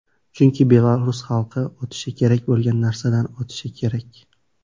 Chunki belarus xalqi o‘tishi kerak bo‘lgan narsadan o‘tishi kerak.